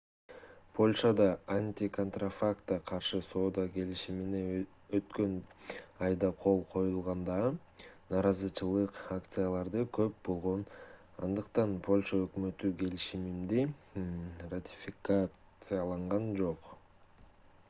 польшада антиконтрафактка каршы соода келишимине өткөн айда кол коюлганда нааразычылык акциялары көп болгон андыктан польша өкмөтү келишимди ратификациялаган жок